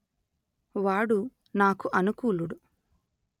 వాడు నాకు అనుకూలుడు